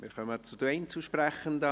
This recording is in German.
Wir kommen zu den Einzelsprechenden.